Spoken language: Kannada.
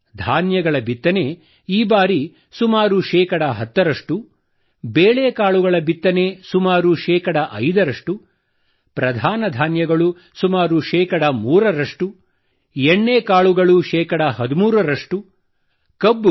ಧಾನ್ಯಗಳ ಬಿತ್ತನೆ ಈ ಬಾರಿ ಸುಮಾರು ಶೇ 10 ರಷ್ಟು